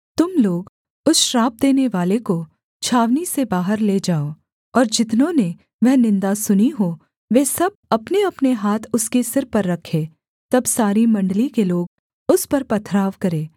तुम लोग उस श्राप देनेवाले को छावनी से बाहर ले जाओ और जितनों ने वह निन्दा सुनी हो वे सब अपनेअपने हाथ उसके सिर पर रखें तब सारी मण्डली के लोग उस पर पथराव करें